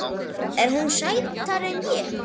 Er hún sætari en ég?